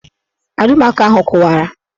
Alụmaco ahụ kụwara